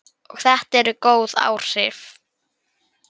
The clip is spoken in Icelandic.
Og þetta eru góð áhrif.